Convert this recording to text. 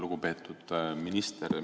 Lugupeetud minister!